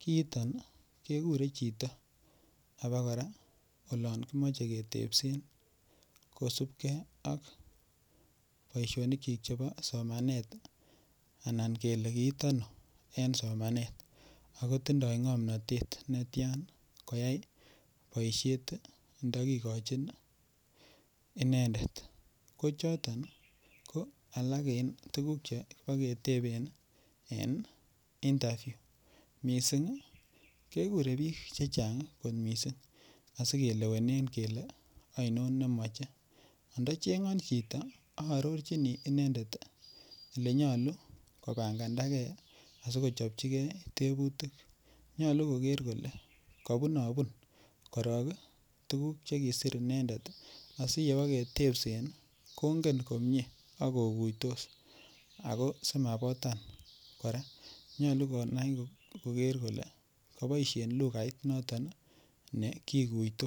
kiiton kekirei chito akokora olon kimoche ketepsen kosupkei ak boishonik chi chebo somanet anan kele kiit ano eng somanet akotindoi ng'omnotet netain koyai boishet ndakikochin inendet ko choton ko alak eng tukuk chepeketepen en interview missing kekure biik chechang kot mising asikilewenen kele aino nemache andacheng'on chito aarorchini inendet ele nyolu kobandakee asikochopchigee tebutik nyolu koker kole kabunobun korok tukuk chekiser inendet asiyeketepsen kongen komie akokuitos ako simabotan kora nyolu konai koker kole kiboishen lugait noton ne kikuytos.